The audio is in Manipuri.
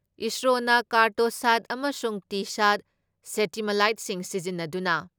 ꯏꯁꯔꯣꯅ ꯀꯥꯔꯇꯣꯁꯥꯠ ꯑꯃꯁꯨꯡ ꯇꯤꯁꯥꯠ ꯁꯦꯇꯤꯃꯥꯂꯥꯏꯠꯁꯤꯡ ꯁꯤꯖꯤꯟꯅꯗꯨꯅ